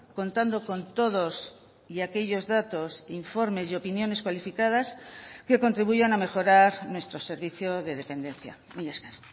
contando con todos y aquellos datos informes y opiniones cualificadas que contribuyan a mejorar nuestro servicio de dependencia mila esker